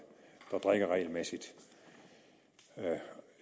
der drikker regelmæssigt